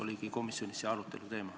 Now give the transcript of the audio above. Seda komisjonis arutatigi.